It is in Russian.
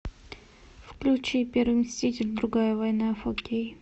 включи первый мститель другая война фор кей